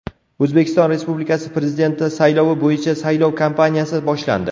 O‘zbekiston Respublikasi Prezidenti saylovi bo‘yicha saylov kampaniyasi boshlandi.